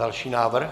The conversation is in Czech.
Další návrh.